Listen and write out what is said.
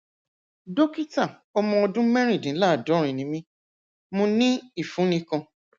dókítà ọmọ ọdún mẹrìndínláàádórin ni mí mo ní ìfunni kan